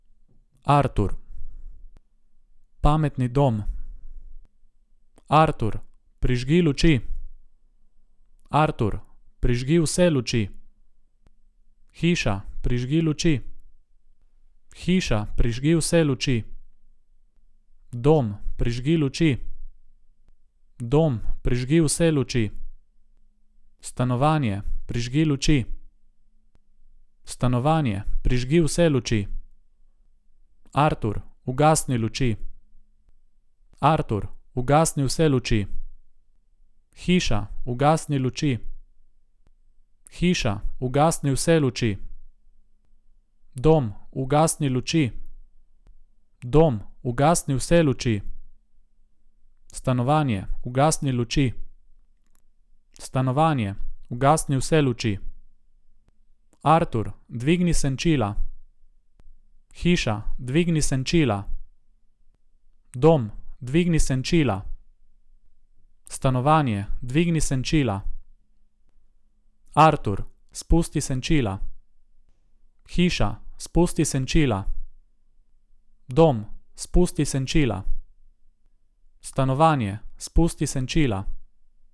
Artur. Pametni dom. Artur, prižgi luči. Artur, prižgi vse luči. Hiša, prižgi luči. Hiša, prižgi vse luči. Dom, prižgi luči. Dom, prižgi vse luči. Stanovanje, prižgi luči. Stanovanje, prižgi vse luči. Artur, ugasni luči. Artur, ugasni vse luči. Hiša, ugasni luči. Hiša, ugasni vse luči. Dom, ugasni luči. Dom, ugasni vse luči. Stanovanje, ugasni luči. Stanovanje, ugasni vse luči. Artur, dvigni senčila. Hiša, dvigni senčila. Dom, dvigni senčila. Stanovanje, dvigni senčila. Artur, spusti senčila. Hiša, spusti senčila. Dom, spusti senčila. Stanovanje, spusti senčila.